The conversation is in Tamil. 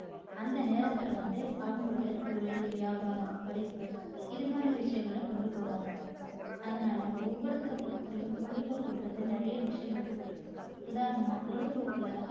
அந்த நேரத்துல வந்து அவங்களோட தொழில் வியாபாரம் படிப்பு இது மாதிரி விஷயங்களை கொண்டு போவாங்க. அதனால ஒவ்வொருத்தரை பொறுத்த வரைக்கும் பொழுதுபோக்குன்றது நிறைய விஷயங்கள் இருக்கும் உதாரணமா பொழுதுபோக்குல